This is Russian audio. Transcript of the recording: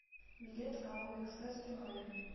билет ао экспресс приморья